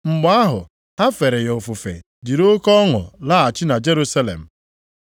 Mgbe ahụ, ha fere ya ofufe jiri oke ọṅụ laghachi na Jerusalem.